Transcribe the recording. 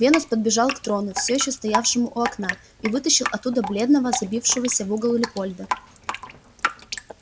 венус подбежал к трону всё ещё стоявшему у окна и вытащил оттуда бледного забившегося в угол лепольда